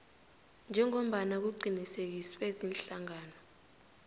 njengombana kuqinisekiswe ziinhlangano